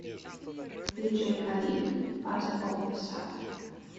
диджей халид фазер оф асад